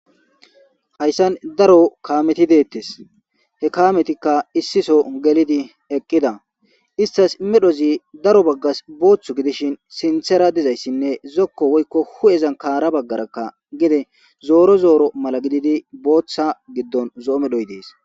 hayssan daro kaameti deettes he kametikka issiso gelidi eqqida istas medhozi daro baggas booththu gidishin sinthera dizayssinne zokko woykko hu7ezan kaara baggarakka gide zooro zooro mala gididi booththa giddon zo7o medhoy dees